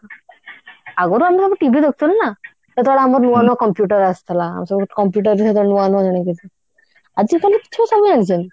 ଆଗରୁ ଆମର ଆମେ TV ଦେଖୁଥିଲୁ ନା ସେତେବେଳେ ଆମର ନୂଆ ନୂଆ computer ଆସିଥିଲା ଆମେ ସବୁ computer ସେତେବେଳେ ନୂଆ ନୂଆ ଜାଣୁଥିଲୁ ଆଜିକାଲି ଛୁଆ ସବୁ ଜାଣିଛନ୍ତି